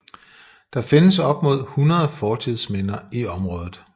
Der findes op mod 100 fortidsminder i området